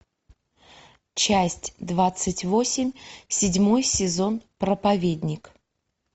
часть двадцать восемь седьмой сезон проповедник